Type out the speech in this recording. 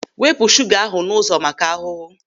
Wepụ shuga ahụ n'ụzọ maka ahụhụ!